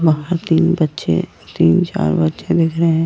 हमारा तीन बच्चे तीन चार बच्चे दिख रहे हैं।